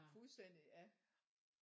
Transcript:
Fuldstændig ja